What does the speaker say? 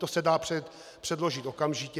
To se dá předložit okamžitě.